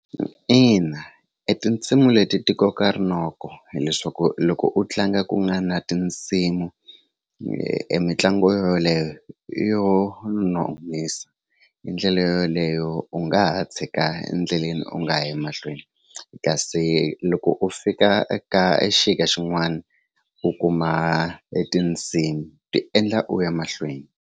Ina, e tinsimu leti ti koka rinoko hileswaku loko u tlanga ku nga na tinsimu emitlangu yo yoleyo yo nonisa hi ndlela yo yoleyo u nga ha tshika endleleni u nga yi mahlweni kasi loko u fika ka xin'wani u kuma etindzimi ti endla u ya mahlweni.